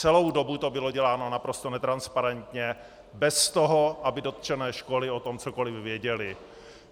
Celou dobu to bylo děláno naprosto netransparentně, bez toho, aby dotčené školy o tom cokoli věděly.